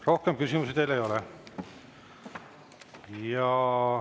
Rohkem küsimusi teile ei ole.